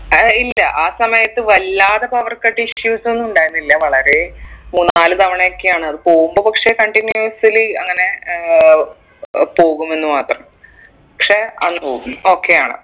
ഏയ് ഇല്ല ആ സമയത്ത് വല്ലാതെ power cut issues ഒന്നും ഉണ്ടായിരുന്നില്ല വളരെ മൂന്നാല് തവണയൊക്കെയാണ് അത് പോകുമ്പോ പക്ഷെ continuosly അങ്ങനെ ഏർ പോകുമെന്ന് മാത്രം പക്ഷെ okay ആണ്